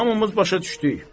Hamımız başa düşdük.